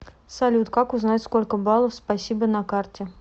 салют как узнать сколько балов спасибо на карте